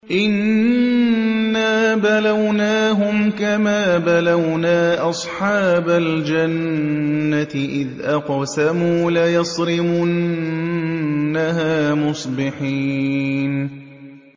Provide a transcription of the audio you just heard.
إِنَّا بَلَوْنَاهُمْ كَمَا بَلَوْنَا أَصْحَابَ الْجَنَّةِ إِذْ أَقْسَمُوا لَيَصْرِمُنَّهَا مُصْبِحِينَ